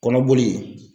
Kɔnɔboli